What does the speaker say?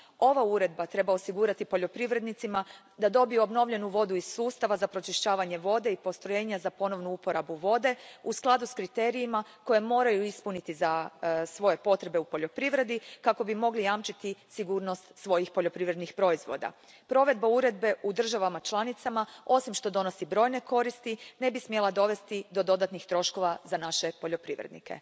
Ova Uredba treba osigurati poljoprivrednicima da dobiju obnovljenu vodu iz sustava za pročišćavanje vode i postrojenja za ponovnu uporabu vode u skladu s kriterijima koje moraju ispuniti za svoje potrebe u poljoprivredi, kako bi mogli jamčiti sigurnost svojih poljoprivrednih proizvoda. Provedba Uredbe u državama članicama, osim što donosi brojne koristi, ne bi smjela dovesti do dodatnih troškova za naše poljoprivrednike.